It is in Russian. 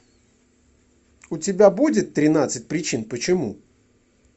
у тебя будет тринадцать причин почему